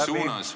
Aeg on läbi.